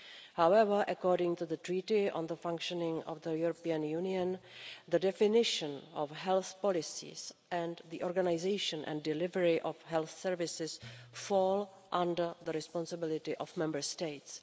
However, according to the Treaty on the Functioning of the European Union, the definition of health policies and the organisation and delivery of health services, fall under the responsibility of Member States.